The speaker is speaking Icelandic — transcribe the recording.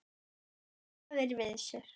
Svo ranka þeir við sér.